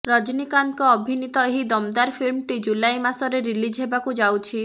ରଜନୀକାନ୍ତଙ୍କ ଅଭିନୀତ ଏହି ଦମଦାର ଫିଲ୍ମଟି ଜୁଲାଇ ମାସରେ ରିଲିଜ ହେବାକୁ ଯାଉଛି